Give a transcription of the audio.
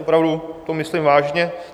Opravdu to myslím vážně.